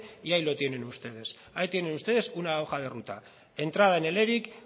y ahí lo tienen ustedes ahí tienen ustedes una hoja de ruta entrada en el eric